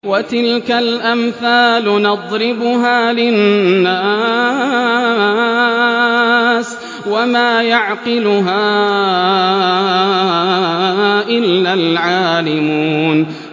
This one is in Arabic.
وَتِلْكَ الْأَمْثَالُ نَضْرِبُهَا لِلنَّاسِ ۖ وَمَا يَعْقِلُهَا إِلَّا الْعَالِمُونَ